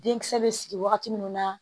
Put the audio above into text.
Denkisɛ bɛ sigi wagati min na